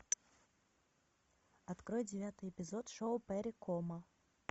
открой девятый эпизод шоу перри комо